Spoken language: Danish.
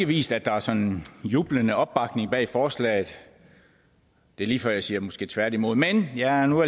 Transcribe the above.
vist at der er sådan en jublende opbakning bag forslaget det er lige før jeg siger måske tværtimod men jeg er nu